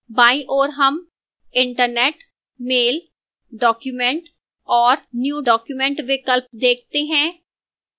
बाईं ओर हम internet mail document और new document विकल्प देखते हैं